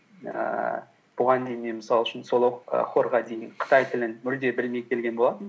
ііі бұған дейін мен мысал үшін сол і хорға дейін қытай тілін мүлде білмей келген болатынмын